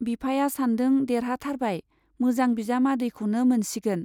बिफाया सानदों-देरहाथारबाय, मोजां बिजामादैखौनो मोनसिगोन।